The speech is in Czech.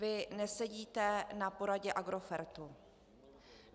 Vy nesedíte na poradě Agrofertu.